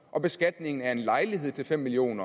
og beskatningen af en lejlighed til fem million